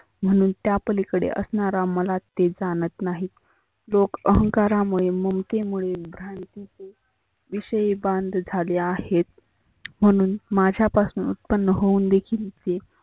म्हणून त्या पलिकडे असनारा मला ते जानत नाहीत. लोक अहंकारामुळे मुमते मुळे भ्रांतीची विषयी बांध झाले आहेत. म्हणून माझ्या पसनं उत्पन्न होऊन देखील